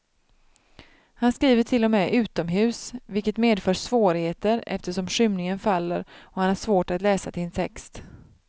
Han skriver till och med utomhus, vilket medför svårigheter eftersom skymningen faller och han har svårt att läsa sin text.